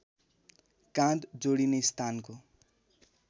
काँध जोडिने स्थानको